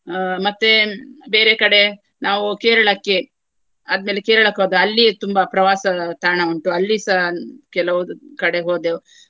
ಆ ಮತ್ತೆ ಬೇರೆ ಕಡೆ ನಾವು ಕೇರಳಕ್ಕೆ ಆದ್ಮೇಲೆ ಕೇರಳಕ್ಕೆ ಹೋದೆ. ಅಲ್ಲಿಯೇ ತುಂಬಾ ಪ್ರವಾಸ ತಾಣ ಉಂಟು. ಅಲ್ಲಿಸ ಕೆಲವುಂದು ಕಡೆ ಹೋದೆವು.